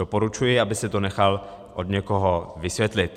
Doporučuji, aby si to nechal od někoho vysvětlit.